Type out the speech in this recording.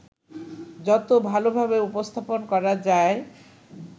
যত ভালোভাবে উপস্থাপন করা যায়